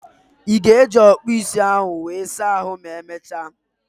Ị ga-eji okpu ịsa ahụ were saa ahų ma emechaa?